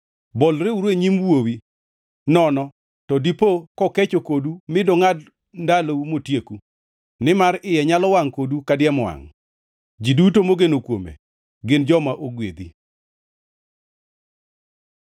Bolreuru e nyim Wuowi, nono to dipo kokecho kodu mi dongʼad ndalou, motieku, nimar iye nyalo wangʼ kodu kadiemo wangʼ. Ji duto mogeno kuome gin joma ogwedhi.